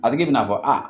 A bɛ kɛ i n'a fɔ a